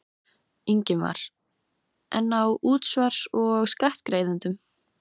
Fram hjá hrauninu, mosanum og yfirgefnum húskumböldunum.